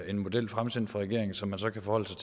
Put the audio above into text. en model fremsendt fra regeringen som man så kan forholde